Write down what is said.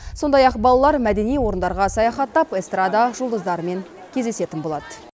сондай ақ балалар мәдени орындарға саяхаттап эстрада жұлдыздарымен кездесетін болады